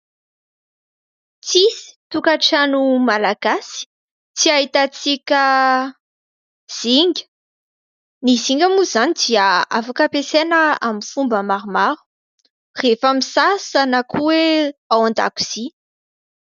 Tsisy tokantrano Malagasy tsy ahitan-tsika zinga. Ny zinga moa izany dia afaka ampiasaina amin'ny fomba maromaro : rehefa misasa na ko hoe ao an-dakozia.